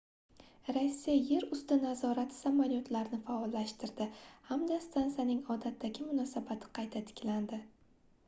rossiya yer usti nazorati samolyotlarni faollashtirdi hamda stansiyaning odatdagi munosabati qayta tiklandi